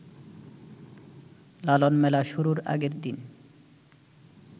লালনমেলা শুরুর আগের দিন